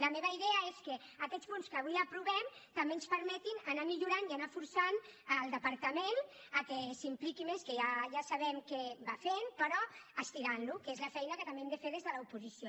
la meva idea és que aquests punts que avui aprovem també ens permetin millorar i forçar el departament perquè s’hi impliqui més que ja sabem que va fent però estirant lo que és la feina que també hem de fer des de l’oposició